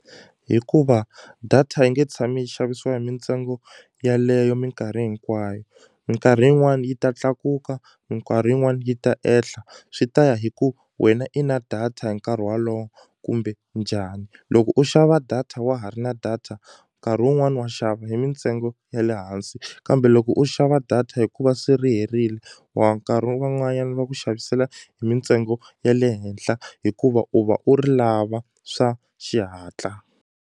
Hikuva data yi nge tshami yi xavisiwa hi mintsengo yaleyo minkarhi hinkwayo minkarhi yin'wani yi ta tlakuka minkarhi yin'wani yi ta ehla swi ta ya hi ku wena i na data hi nkarhi walowo kumbe njhani loko u xava data wa ha ri na data nkarhi wun'wani wa xava hi mintsengo ya le hansi kambe loko u xava data hikuva se ri herile wa nkarhi wun'wanyani va ku xavisela hi mintsengo ya le henhla hikuva u va u ri lava swa xihatla.